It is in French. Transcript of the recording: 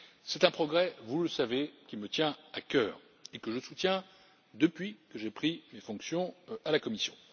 C'est un progrès, vous le savez, qui me tient à cœur et que je soutiens depuis que j'ai pris mes fonctions à la Commission.